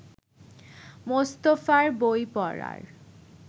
মোস্তফার বই পড়ার